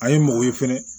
A ye mɔgɔ ye fɛnɛ